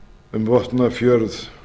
um vopnafjörð